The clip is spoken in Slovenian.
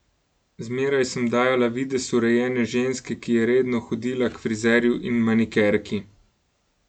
Zmeraj sem dajala videz urejene ženske, ki je redno hodila k frizerju in manikerki.